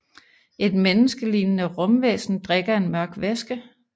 Et menneskeligende rumvæsen drikker en mørk væske